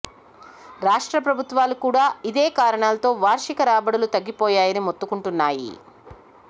రాష్ట్ర ప్రభుత్వాలు కూడా ఇదే కారణాలతో వార్షిక రాబడులు తగ్గిపోయాయని మొత్తుకుంటున్నాయి